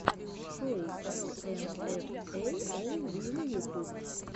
шоу эл эм эф эй оу виво ютуб